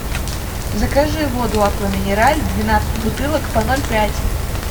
закажи воду аква минерале двенадцать бутылок по ноль пять